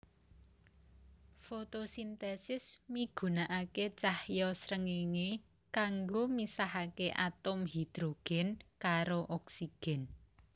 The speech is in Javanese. Fotosintesis migunakaké cahya srengéngé kanggo misahaké atom hidrogen karo oksigen